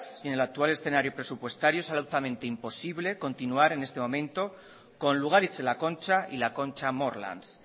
y en el actual escenario presupuestario es absolutamente imposible continuar en este momento con lugaritz la concha y la concha morlans